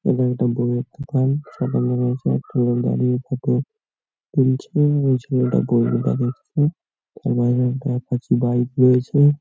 এটা একটা বইয়ের দোকান একটা লোক দাঁড়িয়ে ফোটো তুলছে ঐ ছেলেটা বই নিয়ে দাঁড়িয়ে আছে একটা বাইক অ্যাপাচি বাইক রয়েছে।